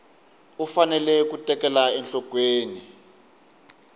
u fanele ku tekela enhlokweni